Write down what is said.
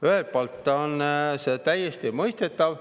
Ühelt poolt on see täiesti mõistetav.